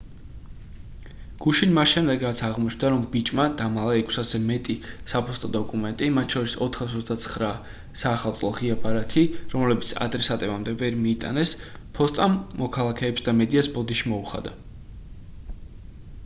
გუშინ მას შემდეგ რაც აღმოჩნდა რომ ბიჭმა დამალა 600-ზე მეტი საფოსტო დოკუმენტი მათ შორის 429 საახალწლო ღია ბარათი რომლებიც ადრესატებამდე ვერ მიიტანეს ფოსტამ მოქალაქეებს და მედიას ბოდიში მოუხადა